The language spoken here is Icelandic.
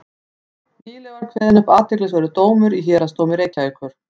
nýlega var kveðinn upp athyglisverður dómur í héraðsdómi reykjavíkur